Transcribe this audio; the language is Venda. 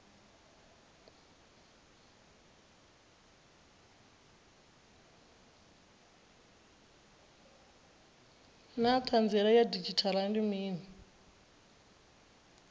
naa hanziela ya didzhithala ndi mini